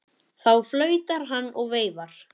Þá flautar hann og veifar.